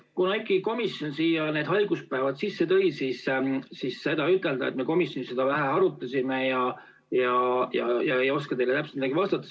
Kuna komisjon need haiguspäevad sisse tõi, siis ütelda, et te komisjonis seda vähe arutasite ja ei oska täpselt midagi vastata.